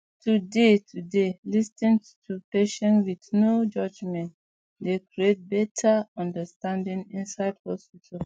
to dey to dey lis ten to patients with no judgement dey create better understanding inside hospitals